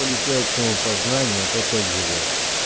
полетел к самопознанию а ты опять жрёшь